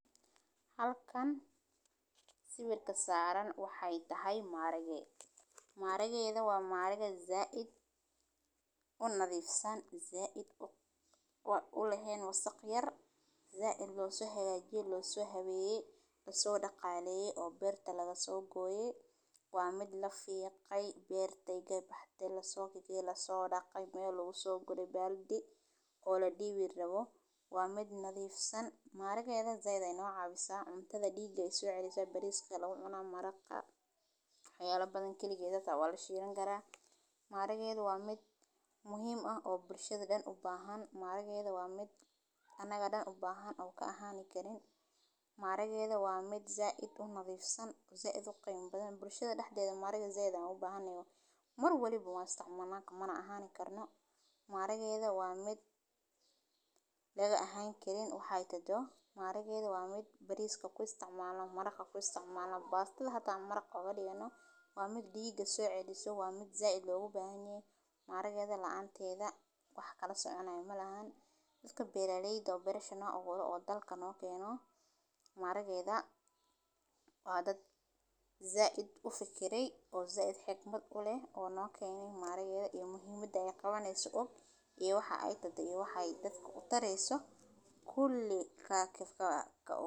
Halkan sawirka saran waxee tahay maharage, maharagedha waa maharage said unadhifsan said u lehen wasaq yar, laso hagajiye oo laso daqaleye oo beeerta laga so gure ege baxde laso daqey oo ladiwi rawo waa mid nadhiifsan maharagedha said ayey no cawisa said ayey diga uso celisa bariska aya lagu cuna maraqa wax yala badan hata galigeed aya lashilan karaa maharagedha waa mid muhiim ah bulshaada daxdedha u bahan maharagedha waa mid anaga dan u bahan oo ka ahani karin maharagedha waa mid said u badhiif san oo said u qema badan bulshaada daxdedha maharagedha said ayan ogu bahanahay mar walibo wan istaccmalna maharagedha waa mid laga ahan karin waxee tahdo bariska kuisticmalno bastadha xita kuistimalno maraq oga digano waa mid diga so celiso waa mid said logu bahan yoho, maharagedha laanteeda wax kala soconayo malaha, iyo waxa ee tahdo iyo waxe dadka utareso kuli.